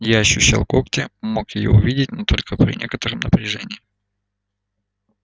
я ощущал когти мог её увидеть но только при некотором напряжении